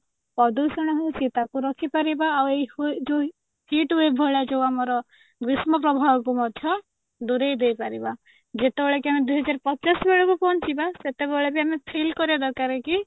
ପ୍ରଦୂଷଣ ହଉଛି ତାକୁ ରଖିପାରିବା ଆଉ ଏଇ ଯୋଉ heat wave ଭଳିଆ ଯୋଉ ଆମର ଗ୍ରୀଷ୍ମ ପ୍ରଭାବକୁ ମଧ୍ୟ ଦୂରେଇ ଦେଇ ପାରିବା ଯେତେବେଳେ କି ଆମେ ଦୁଇ ହଜାର ପଚାଶ ବେଳକୁ ପହଞ୍ଚିବା ସେତେବେଳେ ବି ଆମେ feel କରିବା ଦରକାର କି